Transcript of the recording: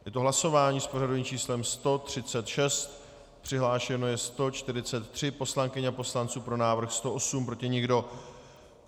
Je to hlasování s pořadovým číslem 136, přihlášeno je 143 poslankyň a poslanců, pro návrh 108, proti nikdo.